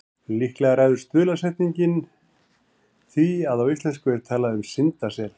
Líklega ræður stuðlasetning því að á íslensku er talað um syndasel.